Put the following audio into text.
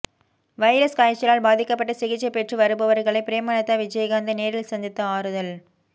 virus காய்ச்சலால் பாதிக்கப்பட்டு சிகிச்சை பெற்று வருபவர்களை பிரேமலதா விஜயகாந்த் நேரில் சந்தித்து ஆறுதல்